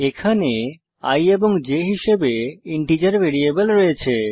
এখানে i এবং j হিসাবে ইন্টিজার ভেরিয়েবল রয়েছে